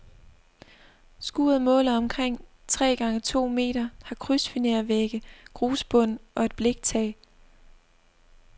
Skuret måler omkring tre gange to meter, har krydsfinervægge, grusbund og et bliktag.